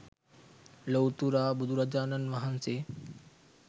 ලොව්තුරා බුදුරජාණන් වහන්සේ